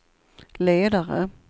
ledare